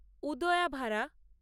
উদায়াভারা